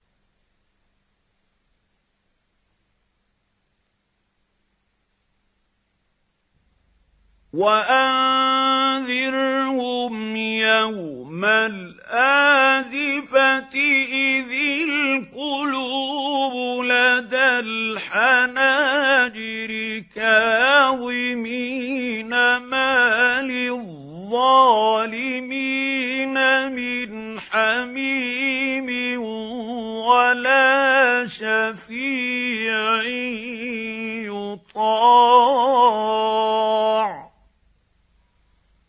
وَأَنذِرْهُمْ يَوْمَ الْآزِفَةِ إِذِ الْقُلُوبُ لَدَى الْحَنَاجِرِ كَاظِمِينَ ۚ مَا لِلظَّالِمِينَ مِنْ حَمِيمٍ وَلَا شَفِيعٍ يُطَاعُ